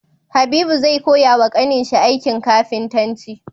Habibu zai koya wa ƙanin shi aikin kafintanci